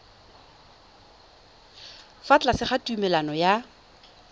fa tlase ga tumalano ya